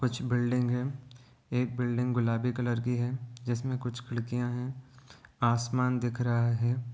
कुछ बिल्डिंग हैं एक बिल्डिंग गुलाबी कलर की है जिसमें कुछ खिड़कियाँ हैं आसमान दिख रहा है ।